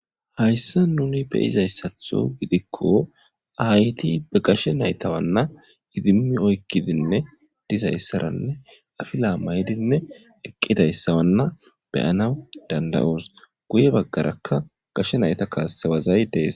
hayssa nuni beyizayssatho gidikko ayti be gashe naytawanna idimi oykkidinne dizayssaranne afila maydinne eqqidayssawanna beyanaw dandayoos guye baggarakka gashe nayta kaassewazay dees